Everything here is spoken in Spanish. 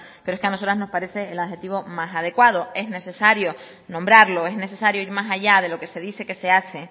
pero es que a nosotros nos parece el adjetivo más adecuado es necesario nombrarlo es necesario ir más allá de lo que se dice que se hace